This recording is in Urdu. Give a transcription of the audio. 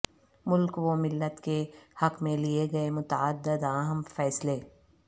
ملک وملت کے حق میں لئے گئے متعدد اہم فیصلے